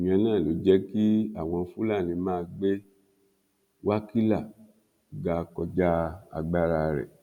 ìyẹn náà ló jẹ kí àwọn fúlàní máa gbé wákílà ga kọjá agbára rẹ